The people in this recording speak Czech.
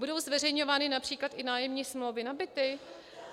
Budou zveřejňovány například i nájemní smlouvy na byty?